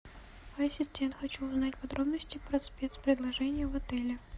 ассистент хочу узнать подробности по спецпредложению в отеле